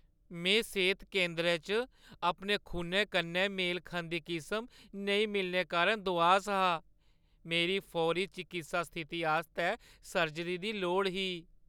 में सेह्‌त केंदरै च अपने खूनै कन्नै मेल खंदी किसम नेईं मिलने कारण दुआस हा। मेरी फौरी चकित्सा स्थिति आस्तै सर्जरी दी लोड़ ही।